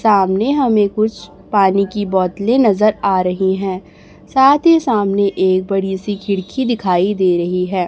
सामने हमें कुछ पानी की बोतलें नजर आ रहीं हैं साथ ही सामने एक बड़ी सी खिड़की दिखाई दे रहीं हैं।